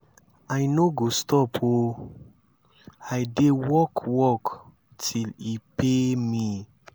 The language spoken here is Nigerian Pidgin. i no go stop oo. i dey work work till e pay me.